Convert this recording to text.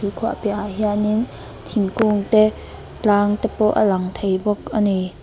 tuikhuah piahah hianin thingkung te tlang te a lang thei bawk a ni.